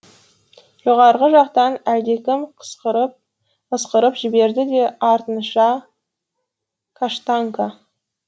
жоғарғы жақтан әлдекім ысқырып жіберді де артынша каштанка